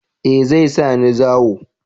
Eh zai sa ni zawo